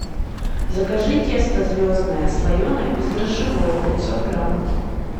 закажи тесто звездное слоеное бездрожжевое пятьсот грамм